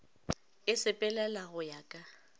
e sepelela go ya ka